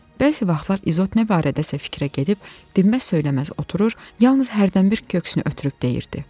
Bəzi vaxtlar İzot nə barədə isə fikrə gedib dinməz-söyləməz oturur, yalnız hərdən bir köksünü ötürüb deyirdi.